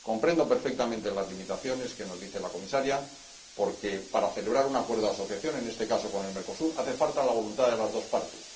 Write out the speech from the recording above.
Comprendo perfectamente las limitaciones que nos señala la Comisaria porque, para celebrar un acuerdo de asociación, en este caso con el Mercosur, hace falta la voluntad de las dos partes.